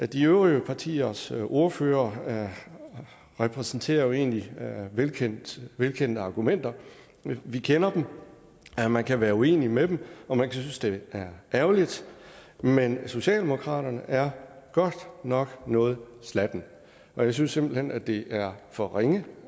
de øvrige partiers ordførere repræsenterer jo egentlig velkendte velkendte argumenter vi kender dem man kan være uenig med dem og man kan synes det er ærgerligt men socialdemokratiet er godt nok noget slatne og jeg synes simpelt hen det er for ringe